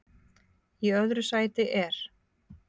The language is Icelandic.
Í öðru sæti er